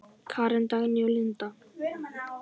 Karen, Dagný og Linda.